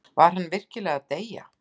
Var hann virkilega að deyja?